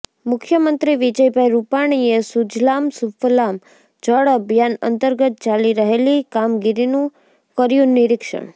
મુખ્યમંત્રી વિજયભાઈ રૂપાણીએ સુજલામ સુફલામ જળ અભિયાન અંતર્ગત ચાલી રહેલી કામગીરીનું કર્યું નીરિક્ષણ